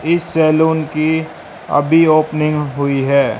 इस सैलून की अभी ओपनिंग हुई है।